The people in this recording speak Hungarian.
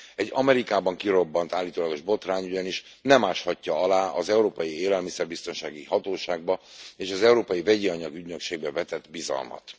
Egy Amerikában kirobbant állítólagos botrány ugyanis nem áshatja alá az Európai Élelmiszerbiztonsági Hatóságba és az Európai Vegyianyag ügynökségbe vetett bizalmat.